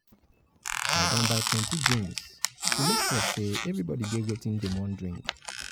i don buy plenty drinks make sure sey everybodi get wetin dem wan drink.